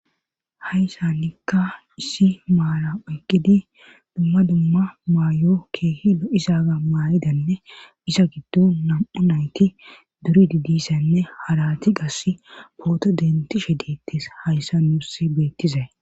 Hayssa nikka issi maala oy gidi dumma dumma maayo keehilo isaga maayidanne isa giddo nam7u nayti duri didissanne harati gass pooto dentishe diittis hayssa muursi beettizay.